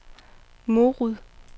Morud